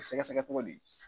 Sɛgɛsɛgɛ togo di?